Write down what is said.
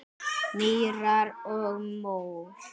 Mýrar og mór